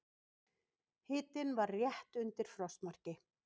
Hitinn var rétt undir frostmarki.